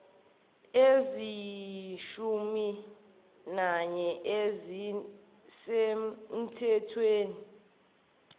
eziyishumi nanye ezisemthethweni